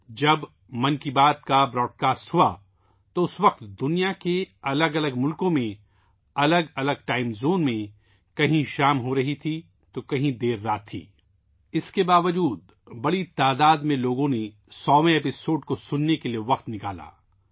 جب 'من کی بات' نشر ہوئی تو اس وقت دنیا کے مختلف ممالک میں مختلف ٹائم زونز میں کہیں شام ہو رہی تھی اور کہیں رات ہو چکی تھی، اس کے باوجود لوگوں کی بڑی تعداد نے 100ویں ایپیسوڈ کو سننے کے لیے وقت نکالا